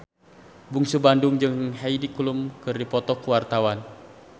Bungsu Bandung jeung Heidi Klum keur dipoto ku wartawan